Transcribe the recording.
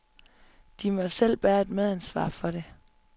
De må selv bære et medansvar for det.